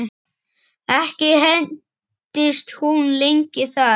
Ekki entist hún lengi þar.